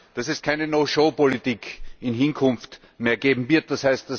dass es keine No Show Politik in Hinkunft mehr geben wird, d.